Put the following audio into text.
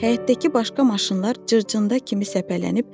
Həyətdəki başqa maşınlar cırcında kimi səpələnmişdi.